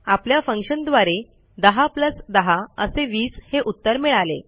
आपल्या फंक्शनद्वारे 10 10 असे 20 हे उत्तर मिळाले